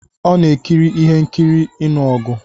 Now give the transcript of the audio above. Ọn a-ekiri ihe nkiri ịnụ ọgụ.